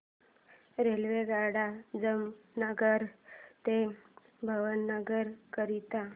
रेल्वेगाड्या जामनगर ते भावनगर करीता